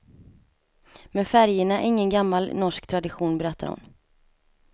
Men färgerna är ingen gammal norsk tradition, berättar hon.